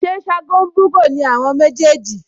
Ṣé Ṣágo ń bú'gò ni àwọn méjèèjì?